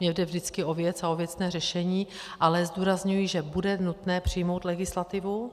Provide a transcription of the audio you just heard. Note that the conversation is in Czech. Mně jde vždycky o věc a o věcné řešení, ale zdůrazňuji, že bude nutné přijmout legislativu.